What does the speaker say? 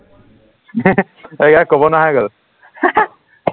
তাই আৰু কব নোৱাৰা হৈ গল